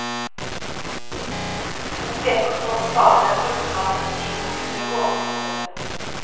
De to peker på faren ved at brukerne av institusjonen blir gående ute.